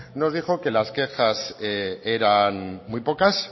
nos dijo que las quejas eran muy pocas